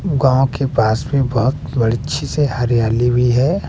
गांव के पास में बहोत बड़ अच्छे से हरियाली भी है।